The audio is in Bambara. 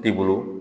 I bolo